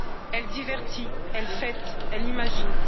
Elle divertit, elle fête, elle imagine.